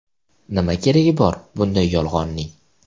Nima keragi bor bunday yolg‘onning?